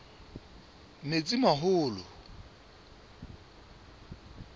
metsimaholo